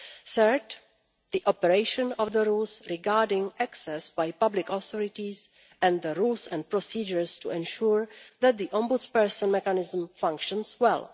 Third, the operation of the rules regarding access by public authorities and the rules and procedures to ensure that the Ombudsperson mechanism functions well.